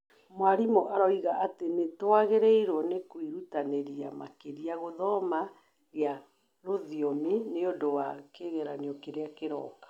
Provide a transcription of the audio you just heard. Mwarimũ oigaga atĩ nĩ twagĩrĩirũo kwĩrutanĩria makĩria gũthoma gia rũthiomi nĩ ũndũ wa kĩgeranio kĩrĩa kĩroka.